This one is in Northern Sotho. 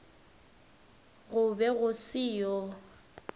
go be go se yo